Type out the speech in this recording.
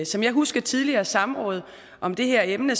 som jeg husker tidligere samråd om det her emne